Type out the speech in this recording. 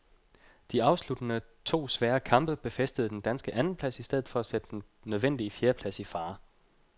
De afsluttende to svære kamp befæstede den danske andenplads i stedet for at sætte den nødvendige fjerdeplads i fare.